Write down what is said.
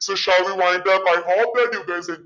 so shall we wind up i hope that you guys